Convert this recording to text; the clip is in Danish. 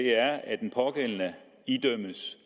at den pågældende idømmes